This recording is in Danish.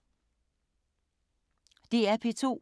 DR P2